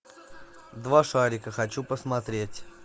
два шарика хочу посмотреть